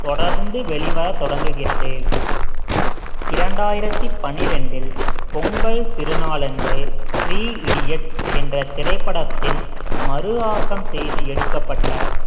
தொடர்ந்து வெளிவர தொடங்குகிறது இரண்டாயிரத்தி பன்னிரண்டில் பொங்கல் திருநாளன்று three idiots என்ற திரைப்படத்தின் மறு ஆக்கம் செய்து எடுக்கப்பட்ட